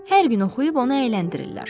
Hər gün oxuyub onu əyləndirirlər.